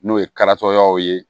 N'o ye karitɔyaw ye